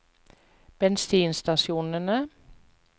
bensinstasjonene